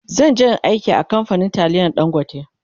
zanje in Yi aiki a kamfanin taliyan dangote